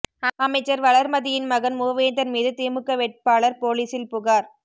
அமைச்சர் வளர்மதியின் மகன் மூவேந்தன் மீது திமுக வேட்பாளர் போலீசில் புகார்